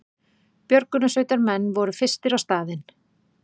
Björgunarsveitarmenn voru fyrstir á staðinn